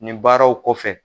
Nin baaraw kɔfɛ.